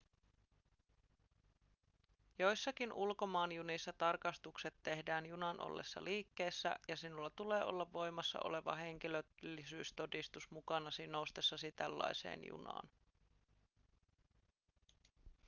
joissakin ulkomaanjunissa tarkastukset tehdään junan ollessa liikkeessä ja sinulla tulee olla voimassa oleva henkilöllisyystodistus mukanasi noustessasi tällaiseen junaan